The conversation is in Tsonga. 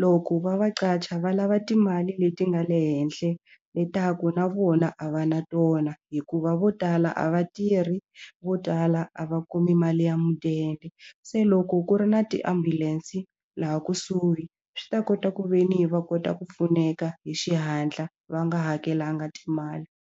loko va va qacha va lava timali leti nga le henhla leswaku na vona a va na tona hikuva vo tala a va tirhi vo tala a va kumi mali ya mudende se loko ku ri na tiambulense laha kusuhi swi ta kota ku ve ni va kota ku pfuneka hi xihatla va nga hakelanga timali.